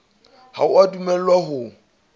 ha o a dumellwa ho